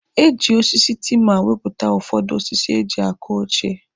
Eji osisi tima wepụta ụfọdụ osisi eji akụ oche.